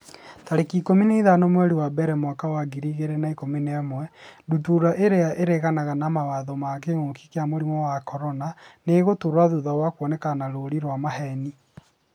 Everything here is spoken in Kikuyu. tarĩki ikũmi na ithano mweri wa mbere mwaka wa ngiri igĩrĩ na ikũmi na ĩmwe Ndutura irĩa 'ĩraregana na mawatho ma kĩngũki kia mũrimũ wa CORONA nĩ ĩgũtũra thutha wa kuonekana na rũũri rwa maheeni.